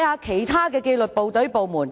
其他紀律部隊、部門......